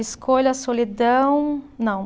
Escolha, solidão, não.